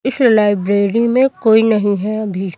इस लाइब्रेरी में कोई नहीं है अभी।